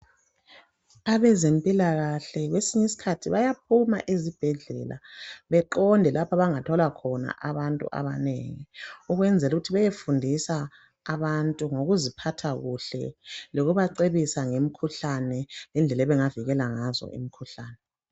Abezempilakahle kwesinye isikhathi bayaphuma ezibhedlela beqonde lapho abangathola khona abantu abanengi ukwenzelukuthi beyefundisa abantu ngokuziphatha kuhle lokubacebisa ngemikhuhlane ngendlela abangavikela ngazo imikhuhlane.